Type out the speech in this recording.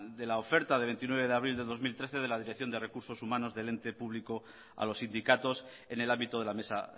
de la oferta de veintinueve de abril de dos mil trece de la dirección de recursos humanos del ente público a los sindicatos en el ámbito de la mesa